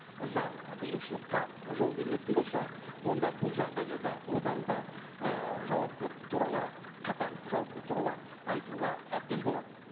заң ы бұзушылыққа жол берілетін болса онда бұл жағдайда да одан да і жауаптылық туралы қатаң жауаптылық туралы айтуға әбден болады